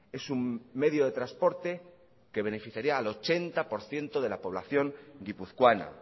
es un medio de transporte que beneficiaría al ochenta por ciento de la población guipuzcoana